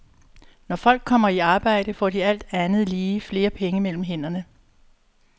Når folk kommer i arbejde, får de alt andet lige flere penge mellem hænderne.